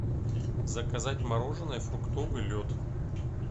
заказать мороженое фруктовый лед